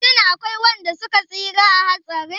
Shin akwai wanda suka tsira a hatsarin?